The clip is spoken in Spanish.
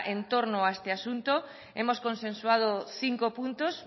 entorno a este asunto hemos consensuado cinco puntos